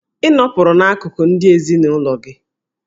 Ị nọpụrụ n'akụkụ ndị ezinụlọ gị!